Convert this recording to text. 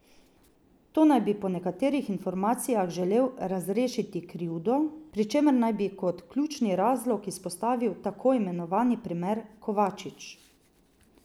To naj bi po nekaterih informacijah želel razrešiti krivdno, pri čemer naj bi kot ključni razlog izpostavil tako imenovani primer Kovačič.